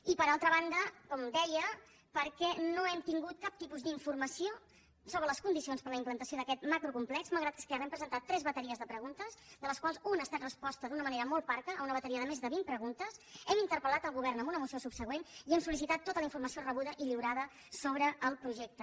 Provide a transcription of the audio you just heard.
i per altra banda com deia perquè no hem tingut cap tipus d’informació sobre les condicions per a la implantació d’aquest macrocomplex malgrat que esquerra hem presentat tres bateries de preguntes de les quals una ha estat resposta d’una manera molt parca una bateria de més de vint preguntes hem interpelel govern amb una moció subsegüent i hem sol·lici tat tota la informació rebuda i lliurada sobre projecte